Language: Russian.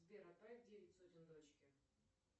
сбер отправь девять сотен дочке